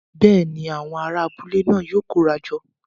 Bẹ́ẹ̀ni, awọn ará abúlé náà yóò kóra jọ